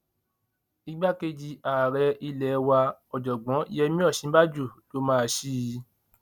um igbákejì ààrẹ ilé wa ọjọgbọn yemí òsínbàjò um ló máa ṣí i